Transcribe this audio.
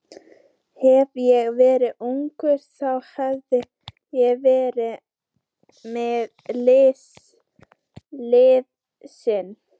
Hefði ég verið ungur, þá hefði ég veitt mitt liðsinni.